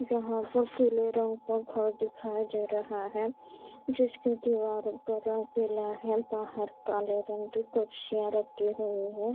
यहाँ पे पीले रंग का घर दिखाई दे रहा है जिसके दिवालो का रंग पीले है बहार काले रंग की कुर्शियाँ रखी हुई है।